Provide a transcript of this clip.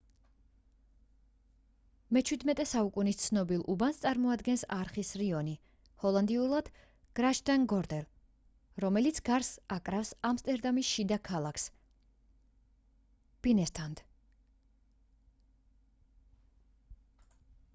მე-17 საუკუნის ცნობილ უბანს წარმოადგენს არხის რაიონი ჰოლანდიურად: grachtengordel რომელიც გარს აკრავს ამსტერდამის შიდა ქალაქს binnenstad